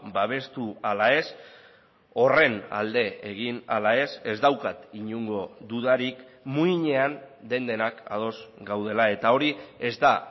babestu ala ez horren alde egin ala ez ez daukat inongo dudarik muinean den denak ados gaudela eta hori ez da